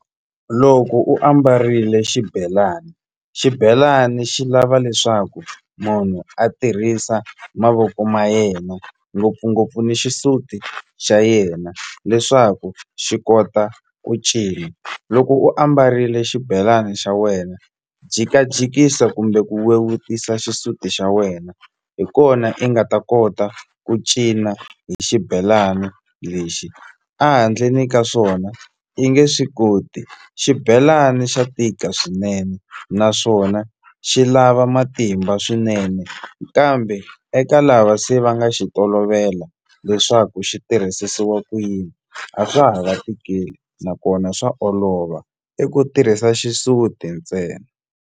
Loko u ambarile xibelani, xibelani xi lava leswaku munhu a tirhisa mavoko ma yena ngopfungopfu ni xisuti xa yena leswaku xi kota ku cina loko u ambarile xibelani xa wena jikajikisa kumbe ku vevukisa xisuti xa wena hi kona i nga ta kota ku cina hi xibelana lexi a handleni ka swona i nge swi koti xibelani xa tika swinene naswona xi lava matimba swinene kambe eka lava se va nga xi tolovela leswaku xi tirhisisiwa ku yini a swa ha va tikeli nakona swa olova i ku tirhisa xisuti ntsena.